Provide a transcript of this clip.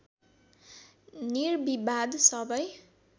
निर्विवाद सबै